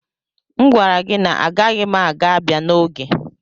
M gwara gị na agaghị m ga abia n'oge